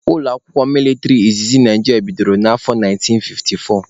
Ụlọakwụkwọ mịlịtrị izizi Naijiria bidoro na afọ 1954